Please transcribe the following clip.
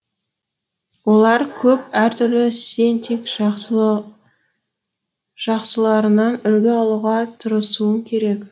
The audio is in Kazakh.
олар көп әртүрлі сен тек жақсыларынан үлгі алуға тырысуың керек